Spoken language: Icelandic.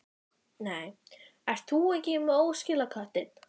Nú, ert þú ekki með óskilaköttinn?